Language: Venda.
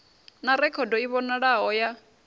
na rekhodo i vhonalaho ya